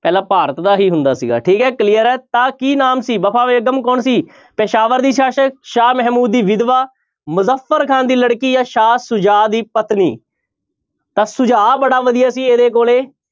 ਪਹਿਲਾਂ ਭਾਰਤ ਦਾ ਹੀ ਹੁੰਦਾ ਸੀਗਾ ਠੀਕ ਹੈ clear ਹੈ ਤਾਂ ਕੀ ਨਾਮ ਸੀ ਵਫ਼ਾ ਬੇਗ਼ਮ ਕੌਣ ਸੀ ਪੇਸ਼ਾਵਰ ਦੀ ਸ਼ਾਸ਼ਕ, ਸ਼ਾਹ ਮਹਿਮੂਦ ਦੀ ਵਿਧਵਾ, ਮੁਜਫ਼ਰ ਖਾਂ ਦੀ ਲੜਕੀ ਜਾਂ ਸ਼ਾਹ ਸੁਜਾ ਦੀ ਪਤਨੀ ਤਾਂਂ ਸੁਝਾਅ ਬੜਾ ਵਧੀਆ ਸੀ ਇਹਦੇ ਕੋਲੇ।